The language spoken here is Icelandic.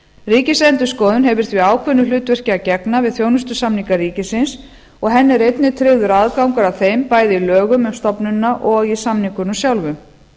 ríkisendurskoðun hefur því ákveðnu hlutverki að gegna við þjónustusamninga ríkisins og henni er einnig tryggður aðgangur að þeim bæði í lögum um stofnunina og í samningunum sjálfum